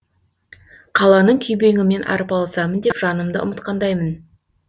қаланың күйбеңімен арпалысамын деп жанымды ұмытқандаймын